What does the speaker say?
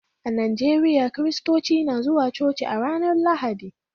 A Najeriya, Kiristoci na zuwa coci a ranar Lahadi